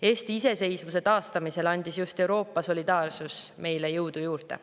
Eesti iseseisvuse taastamisel andis just Euroopa solidaarsus meile jõudu juurde.